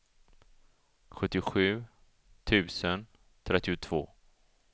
sjuttiosju tusen trettiotvå